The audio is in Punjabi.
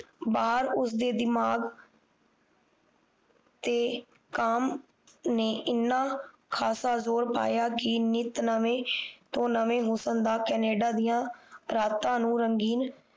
ਬਹਾਰ ਉਸਦੇ ਦਿਮਾਗ਼ ਤੇ ਕੰਮ ਨੇ ਇਨ੍ਹਾਂ ਖਾਸਾ ਜ਼ੋਰ ਪਾਇਆ ਕਿ ਨਿਤ ਨਵੇਂ ਤੋਂ ਨਵੇਂ ਹੁਸਨ ਦਾ ਕੈਨੇਡਾ ਦੀਆਂ ਰਾਤਾਂ ਨੂੰ ਰੰਗਿਣ